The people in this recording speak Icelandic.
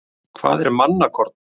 Hvað er mannakorn?